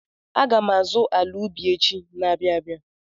Aga m azụ ala ubi echi na-abịa abịa.